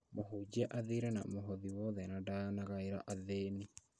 Mũhunjia athiire na mũhothi wothe na ndanagaĩra athĩni